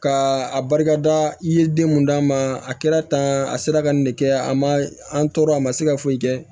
Ka a barika da i ye den mun d'a ma a kɛra tan a sera ka nin ne kɛ a ma an tɔɔrɔ a ma se ka foyi kɛ